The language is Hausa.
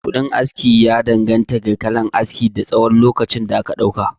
Kuɗin aski ya danganta da kalan aski, da tsawon lokacin da aka ɗauka